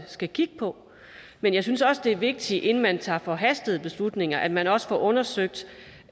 skal kigge på men jeg synes også det er vigtigt inden man tager forhastede beslutninger at man også får undersøgt